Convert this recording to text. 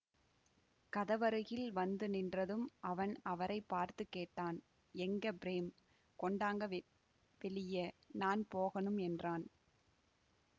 கதவருகில் வந்து நின்றதும் அவன் அவரை பார்த்து கேட்டான் எங்க பிரேம் கொண்டாங்க வெ வெளிய நான் போகணும் என்றான்